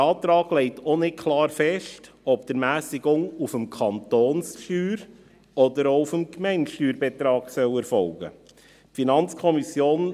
Der Antrag legt auch nicht klar fest, ob die Ermässigung auf dem Kantonssteuerbetrag oder auch auf dem Gemeindesteuerbetrag erfolgen soll.